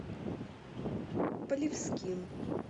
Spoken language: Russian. полевским